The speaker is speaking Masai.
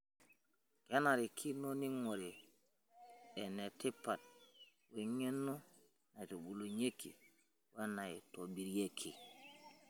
Kenarikino neing'ori enatipat weng'eno naitubulunyieki wenaitobirieki.